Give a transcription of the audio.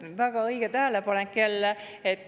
Väga õige tähelepanek jälle.